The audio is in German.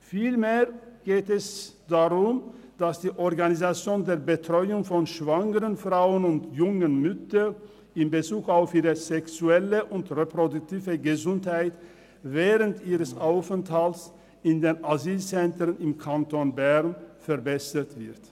Vielmehr geht es darum, dass die Organisation der Betreuung von schwangeren Frauen und jungen Müttern in Bezug auf ihre sexuelle und reproduktive Gesundheit während ihres Aufenthalts in den Asylzentren im Kanton Bern verbessert wird.